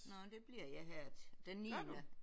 Nåh det bliver jeg her til den niende